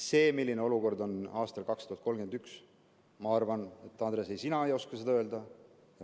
Seda, milline olukord on aastal 2031, ma arvan, ei oska, Andres, sina öelda.